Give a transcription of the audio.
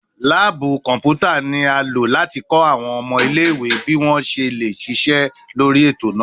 Laabu kọnputa ni a lo lati lo awọn ọmọ ile-iwe bi wọn ṣe le ṣiṣẹ lori eto naa